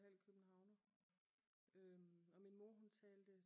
Halv københavner og min mor hun talte